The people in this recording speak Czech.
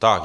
Tak.